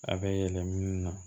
A bɛ yɛlɛ minnu na